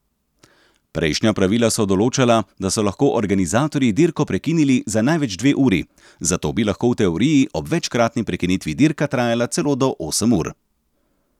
Prejšnja pravila so določala, da so lahko organizatorji dirko prekinili za največ dve uri, zato bi lahko v teoriji ob večkratni prekinitvi dirka trajala celo do osem ur.